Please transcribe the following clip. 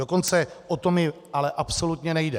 Dokonce o to mi ale absolutně nejde.